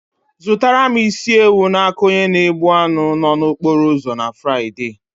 Zụrụtara m isi ewu n'aka onye na egbh anụ nno na okporo ụzọ na Fraịde.